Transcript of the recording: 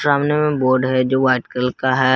सामने में बोर्ड है जो व्हाइट कलर का है।